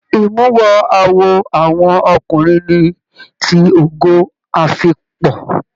Imuwọ̀ awo àwọn ọkùnrin ní tí Ogo afikpo.